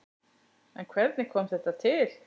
En hvernig kom þetta til?